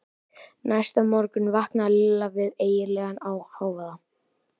Næsta morgun vaknaði Lilla við ægilegan hávaða.